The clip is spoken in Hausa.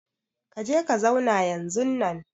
Ka je ka zauna yanzunnan!